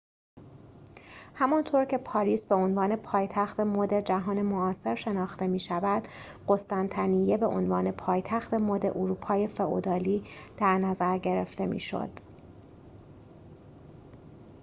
همانطور که پاریس به‌عنوان پایتخت مد جهان معاصر شناخته می‌شود قسطنطنیه به عنوان پایتخت مد اروپای فئودالی در نظر گرفته می‌شد